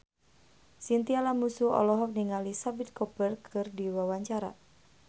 Chintya Lamusu olohok ningali Shahid Kapoor keur diwawancara